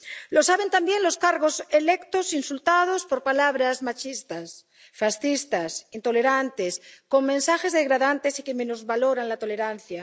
Lo saben también los cargos electos insultados por palabras machistas, fascistas, intolerantes, con mensajes degradantes y que minusvaloran la tolerancia.